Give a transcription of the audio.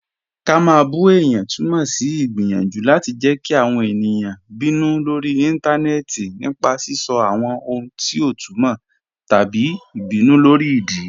Ká má bù è̩yàn tùmọ sí igbiyanjú láti jẹ́ kí àwọn è̩niyàn bínú lórí ìntanẹẹ̀tì nípa sisọ̀ àwọn ohun ti ọ tùmọ́ tabí ìbínú lórí ìdí.